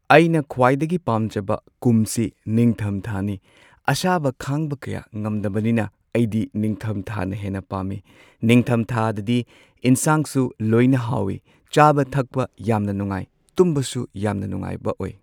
ꯑꯩꯅ ꯈ꯭ꯋꯥꯏꯗꯒꯤ ꯄꯥꯝꯖꯕ ꯀꯨꯝꯁꯤ ꯅꯤꯡꯊꯝ ꯊꯥꯅꯤ ꯑꯁꯥꯕ ꯈꯥꯡꯕ ꯀꯌꯥ ꯉꯝꯗꯕꯅꯤꯅ ꯑꯩꯗꯤ ꯅꯤꯡꯊꯝꯊꯥꯅ ꯍꯦꯟꯅ ꯄꯥꯝꯃꯤ꯫ ꯅꯤꯡꯊꯝꯊꯥꯗꯗꯤ ꯏꯟꯁꯥꯡꯁꯨ ꯂꯣꯏꯅ ꯍꯥꯎꯏ ꯆꯥꯕ ꯊꯛꯄ ꯌꯥꯝꯅ ꯅꯨꯡꯉꯥꯏ ꯇꯨꯝꯕꯁꯨ ꯌꯥꯝꯅ ꯅꯨꯡꯉꯥꯏꯕ ꯑꯣꯏ꯫